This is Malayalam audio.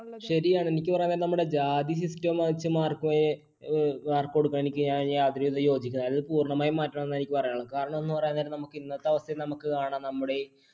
ശരിയാണ് എനിക്ക് പറയാനുള്ളത് നമ്മുടെ ജാതി system എനിക്ക് യാതൊരുവിധ യോജിക്കുന്നില്ല പൂർണമായി മാറ്റണമെന്നാണ് എനിക്ക് പറയാനുള്ളത്. കാരണം എന്നു പറയാൻ നേരം, ഇന്നത്തെ അവസ്ഥയിൽ നമുക്ക് കാണാം നമ്മുടെ